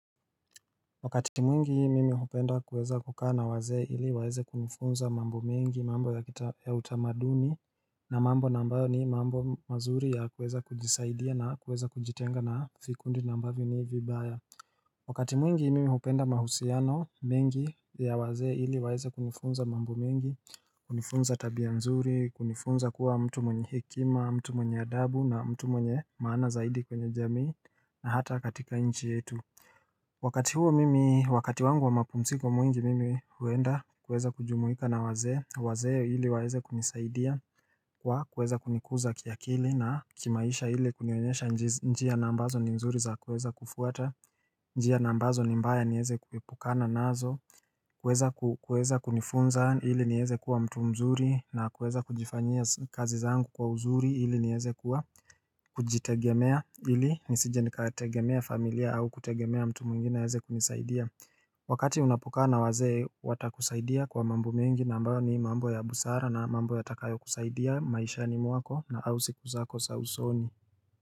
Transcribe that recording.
Wakati mwingi mimi hupenda kuweza kukaa na wazee ili waeze kunifunza mambo mengi mambo ya utamaduni na mambo nambayo ni mambo mazuri ya kuweza kujisaidia na kuweza kujitenga na fikundi nambavyo ni vibaya Wakati mwingi mimi hupenda mahusiano mengi ya wazee ili waeze kunifunza mambo mengi kunifunza tabia mzuri kunifunza kuwa mtu mwenye hikima mtu mwenye adabu na mtu mwenye maana zaidi kwenye jamii na hata katika inchi yetu Wakati huo mimi, wakati wangu wa makumsiko mwingi mimi huenda kueza kujumuika na wazee, wazee ili waeze kunisaidia kwa kueza kunikuza kiakili na kimaisha ili kunionyesha njia nambazo ni mzuri za kueza kufuata, njia nambazo ni mbaya nieze kuipukana nazo Kweza kunifunza ili nieze kuwa mtu mzuri na kweza kujifanyia kazi zangu kwa uzuri ili nieze kuwa kujitegemea ili nisije nikategemea familia au kutegemea mtu mungine heze kunisaidia Wakati unapokana wazee watakusaidia kwa mambu mingi nambayo ni mambo ya busara na mambo ya takayo kusaidia maisha ni mwako na au siku zako sausoni.